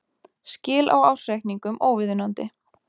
Skil á ársreikningum óviðunandi